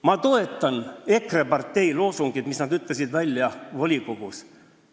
Ma toetan EKRE partei loosungit, mis nad ütlesid välja volikogus.